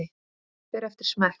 Magn fer eftir smekk.